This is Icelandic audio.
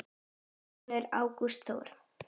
Þinn sonur, Ágúst Þór.